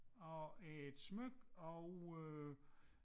Og et smykke og øh